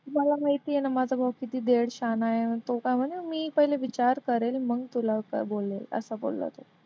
मला माहिती आहे ना माझा भाऊ किती तो काय विचार करेल मग तुला असं बोलला तो.